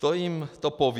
To jim to poví.